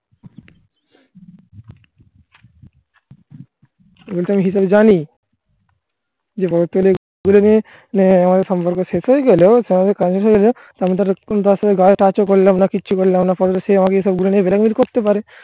জানি যে আমাদের সম্পর্ক শেষ হয়ে গেলো অন্য জায়গায় তারা ঝগড়াঝাঁটি করলে আমাকে ফাঁকি আমাকে বিয়ে করতে পারে